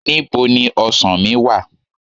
Ní bo ni ọsàn mí wà?